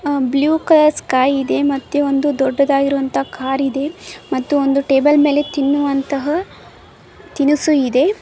ಹಾ blue colour sky ಇದೆ ಮತ್ತೆ ಒಂದು ದೊಡ್ಡದಾಗಿರುವಂತ ಕಾರು ಇದೆ ಮತ್ತು ಒಂದು ಟೇಬಲ್ ಮೇಲೆ ತಿನ್ನುವಂತಹ ತಿನಿಸು ಇದೆ.